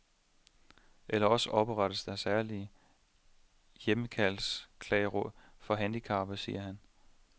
Eller også oprettes der særlige hjemmehjælpsklageråd for handicappede, siger han.